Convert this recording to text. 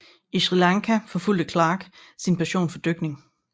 I Sri Lanka forfulgte Clarke sin passion for dykning